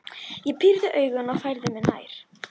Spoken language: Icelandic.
Ég píri augun og færi mig nær.